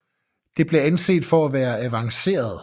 Det blev anset for at være for avanceret